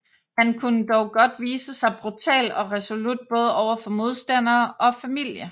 Han kunne dog godt vise sig brutal og resolut både over for modstandere og familie